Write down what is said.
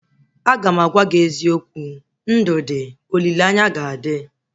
Agam agwa gị eziokwu, ndụ dị, olileanya ga adị